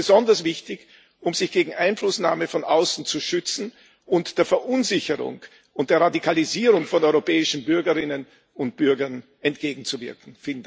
Das ist besonders wichtig, um sich gegen Einflussnahme von außen zu schützen und der Verunsicherung und der Radikalisierung von europäischen Bürgerinnen und Bürgern entgegenzuwirken.